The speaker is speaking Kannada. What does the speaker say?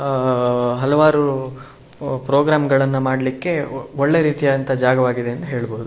ಆಹ್ಹ್ ಹಲವಾರು ಪ್ರೋಗ್ರಾಮ್ಗಳನ್ನ ಮಾಡ್ಲಿಕ್ಕೆ ಒಳ್ಳೆ ರೀತಿಯಾದಂತ ಜಾಗವಾಗಿದೆ ಅಂತ ಹೇಳ್ಬಹುದು.